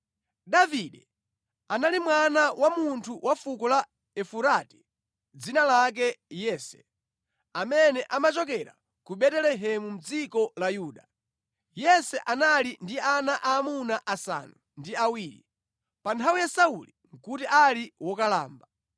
Davide anali mwana wa munthu wa fuko la Efurati dzina lake Yese amene amachokera ku Betelehemu mʼdziko la Yuda. Yese anali ndi ana aamuna asanu ndi awiri. Pa nthawi ya Sauli nʼkuti ali wokalamba.